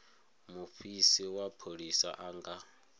mufisi wa pholisa a nga